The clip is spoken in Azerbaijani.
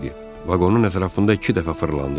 Vaqonun ətrafında iki dəfə fırlandı.